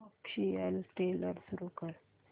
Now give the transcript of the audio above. official trailer सुरू कर